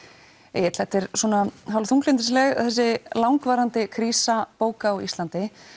Egill þetta er þessi langvarandi krísa bóka á Íslandi